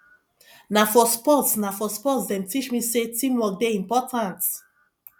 na for sports na for sports dem teach me sey teamwork dey important